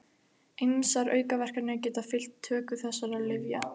Ýmsar aukaverkanir geta fylgt töku þessara lyfja.